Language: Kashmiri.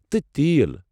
تہ تیٖل!